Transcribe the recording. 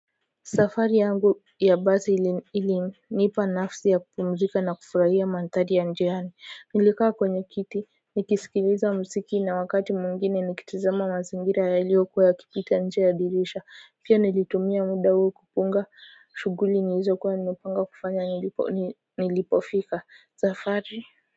Safari yangu ya basi ilinipa nafasi ya kupumzika na kufurahia mandhari ya njiani nilikaa kwenye kiti nikisikiliza mziki na wakati mwingine nikitizama mazingira yaliokuwa yakipita nje ya dirisha pia nilitumia muda huo kupunga shughuli nilizo kuwa nimepanga kufanya nilipofika safari kwa hivyo.